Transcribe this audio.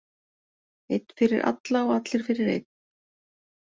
Einn fyrir alla og allir fyrir einn.